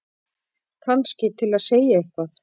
Kannski til að segja eitthvað.